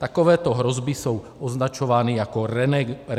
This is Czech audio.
Takovéto hrozby jsou označovány jako RENEGADE.